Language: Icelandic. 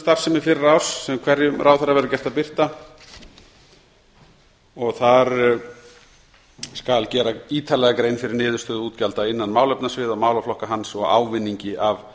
starfsemi fyrra árs sem hverjum ráðherra verður gert að birta þar skal gera ítarlega grein fyrir niðurstöðu útgjalda innan málefnasviða og málaflokka hans og ávinningi af